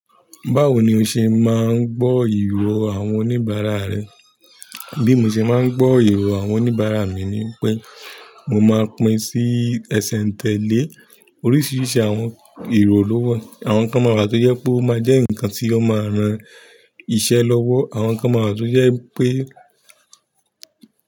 Báwo ni o ṣe máa ń gbọ́ ìró àwọn oníbàárà rẹ? Bí mo ṣe máa ń gbọ́ ìró àwọn oníbàárà mi ni pé mo máa pín sí ẹsẹ̀ ń tẹ́lé. Oríṣiríṣi àwọn iro ló wà. Àwọn kan máa rà tó jẹ́ pé ó máa jẹ́ nǹkan tí ó máa ran iṣẹ́ lọ́wọ́. Àwọn kan máa wa tó jẹ́ pé.